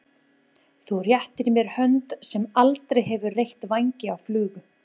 Þú réttir mér hönd sem aldrei hefur reytt vængi af flugu.